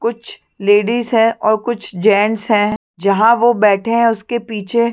कुछ लेडिस है और कुछ जेंट्स है जहाँ वो बैठे है उसके पीछे--